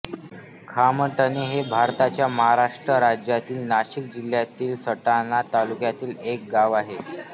खामटणे हे भारताच्या महाराष्ट्र राज्यातील नाशिक जिल्ह्यातील सटाणा तालुक्यातील एक गाव आहे